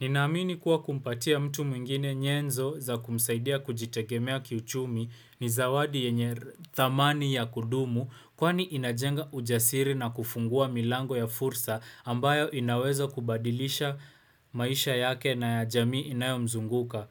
Ninaamini kuwa kumpatia mtu mwingine nyenzo za kumsaidia kujitegemea kiuchumi ni zawadi yenye thamani ya kudumu kwani inajenga ujasiri na kufungua milango ya fursa ambayo inawezo kubadilisha maisha yake na ya jamii inayo mzunguka.